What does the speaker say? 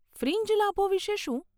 Fringe લાભો વિશે શું?